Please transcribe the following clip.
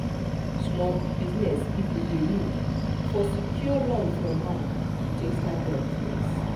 small business people dey look for secure loan from bank to take start their business.